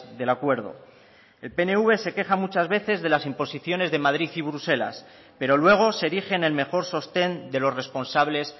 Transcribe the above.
del acuerdo el pnv se queja muchas veces de las imposiciones de madrid y bruselas pero luego se erige en el mejor sostén de los responsables